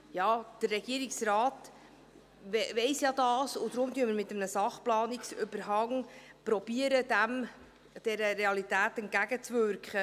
Der Regierungsrat weiss dies ja, und deswegen versuchen wir, dieser Realität mit einem Sachplanungsüberhang entgegenzuwirken.